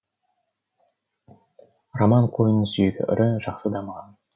роман қойының сүйегі ірі жақсы дамыған